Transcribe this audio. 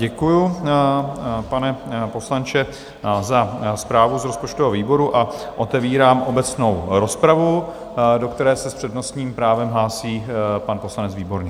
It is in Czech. Děkuji, pane poslanče, za zprávu z rozpočtového výboru a otevírám obecnou rozpravu, do které se s přednostním právem hlásí pan poslanec Výborný.